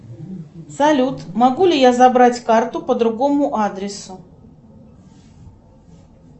салют могу ли я забрать карту по другому адресу